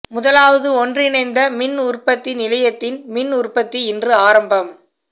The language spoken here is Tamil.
முதலாவது ஒன்றிணைந்த மின் உற்பத்தி நிலையத்தின் மின் உற்பத்தி இன்று ஆரம்பம்